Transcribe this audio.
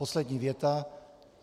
Poslední věta.